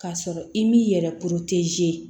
K'a sɔrɔ i m'i yɛrɛ